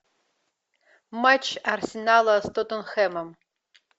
матч арсенала с тоттенхэмом